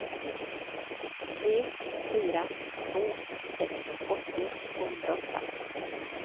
tre fyra två sex åttio tvåhundraåtta